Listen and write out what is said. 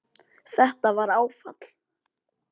Þetta var áfall